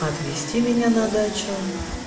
отвезти меня на дачу